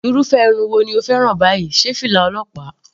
Irúfẹ́ irun wo ni o fẹ́ràn báyìí, sé fìlà ọlọ́pàá?.